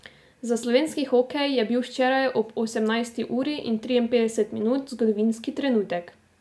Za slovenski hokej je bil včeraj ob osemnajsti uri in triinpetdeset minut zgodovinski trenutek.